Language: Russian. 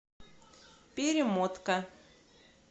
перемотка